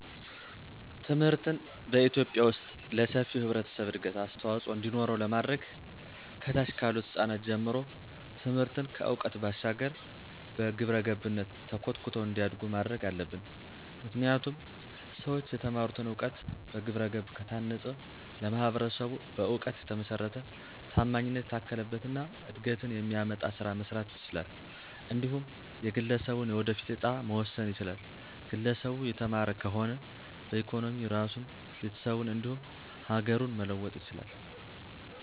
ትምህርትን በኢትዮጲያ ዉስጥ ለሰፊው ህብረተሰብ እድገት አስተዋፅዖ እንዲኖረው ለማድረግ ከታች ካሉት ህጻናት ጀምሮ ትምህርትን ከዕውቀት ባሻገር በግብረገብነት ተኮትኩተው እንዲያዱ ማድረግ አለብን። ምክንያቱም ሠዎች የተማሩትን እውቀት በግብረገብ ከታነፀ ለማህበረሰቡ በእውቀት የተመሰረተ፣ ታማኝነት የታከለበት እና እድገትን የሚያመጣ ስራ መስራት ይችላል። እንዲሁም የግለሠቡን የወደፊት እጣም መወሰን ይችላል፤ ግለሰቡ የተማረ ከሆነ በኢኮኖሚ ራሱን፣ ቤተሰቡን እንዲሁም ሀገሩን መለወጥ ይችላል።